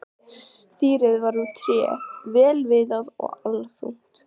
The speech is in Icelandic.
Stýrið var úr tré, vel viðað og allþungt.